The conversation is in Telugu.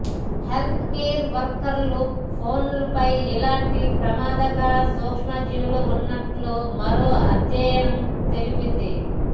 హెల్త్ కేర్ వర్కర్ల ఫోన్లపై ఇలాంటి ప్రమాదకర సూక్షజీవులు ఉన్నట్లు మరో అధ్యయనం తెలిపింది